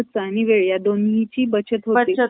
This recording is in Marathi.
आणि वेळ ह्या दोन्हीचाही बचत होते .